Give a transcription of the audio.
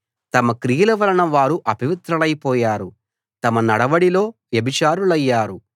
తమ క్రియల వలన వారు అపవిత్రులైపోయారు తమ నడవడిలో వ్యభిచారులయ్యారు